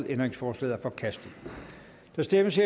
ændringsforslaget er forkastet der stemmes